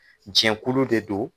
Jɛnkulu de don.